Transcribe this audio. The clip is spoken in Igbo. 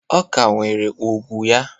Ọ ka nwere ugwu ya